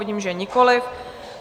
Vidím, že nikoliv.